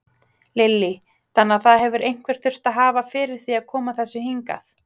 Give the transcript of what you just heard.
Lillý: Þannig að það hefur einhver þurft að hafa fyrir því að koma þessu hingað?